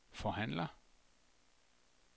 forhandler